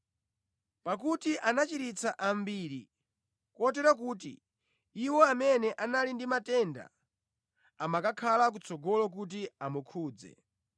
Pakuti anachiritsa ambiri, kotero kuti iwo amene anali ndi matenda amakankhana kutsogolo kuti amukhudze.